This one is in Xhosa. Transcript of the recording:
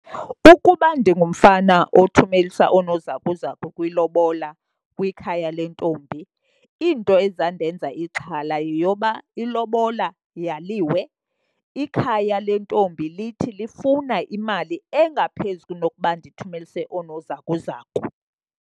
Ukuba ndingumfana othumelisa oonozakuzaku kwilobola kwikhaya lentombi, into ezawundenza ixhala yeyoba ilobola yaliwe, ikhaya lentombi lithi lifuna imali engaphezu kunokuba ndithumelise oonozakuzaku.